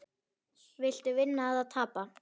Viltu vinna eða viltu tapa?